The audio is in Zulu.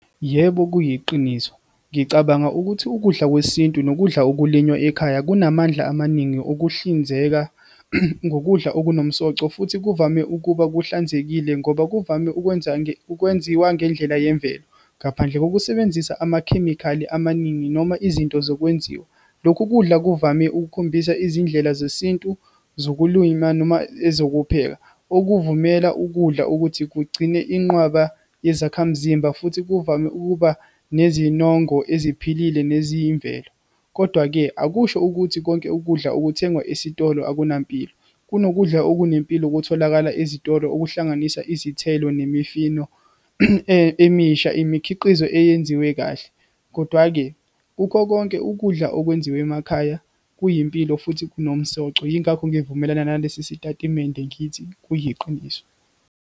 Yebo kuyiqiniso, ngicabanga ukuthi ukudla kwesintu nokudla ukulinywa ekhaya kunamandla amaningi okuhlinzeka ngokudla okunomsoco, futhi kuvame ukuba kuhlanzekile ngoba kuvame ukwenza, ukwenziwa ngendlela yemvelo, ngaphandle kokusebenzisa amakhemikhali amaningi, noma izinto zokwenziwa. Lokhu kudla kuvame ukukhombisa izindlela zesintu zokulwima, noma ezokupheka, okuvumela ukudla ukuthi kugcine inqwaba yezakhamzimba, futhi kuvame ukuba nezinongo esiphilile neziyimvelo. Kodwa-ke, akusho ukuthi konke ukudla okuthengwa esitolo akunampilo. Kunokudla okunempilo okutholakala ezitolo, okuhlanganisa izithelo, nemifino emisha, imikhiqizo eyenziwe kahle. Kodwa-ke kukho konke, ukudla okwenziwe emakhaya kuyimpilo futhi kunomsoco. Yingakho ngivumelana nalesi sitatimende, ngithi kuyiqiniso.